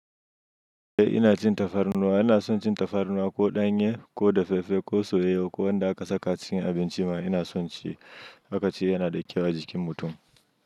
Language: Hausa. Eh ina cin tafarnuwa, ina son cin tafarnuwa ko ɗanye ko dafaffe ko soyewa ko wanda aka saka cikin abinci ma ina son ci. Aka ce yana da kyau a jikin mutum.